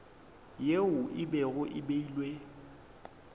yeo e bego e beilwe